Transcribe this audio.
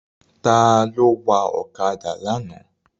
Ta ló wa ọ̀kadà lánàá?